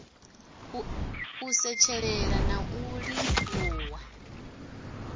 u setshelela na u livhuwa